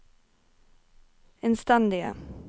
innstendige